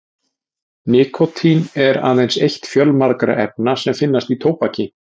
nikótín er aðeins eitt fjölmargra efna sem finnast í tóbaki